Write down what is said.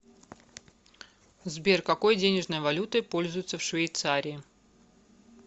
сбер какой денежной валютой пользуются в швейцарии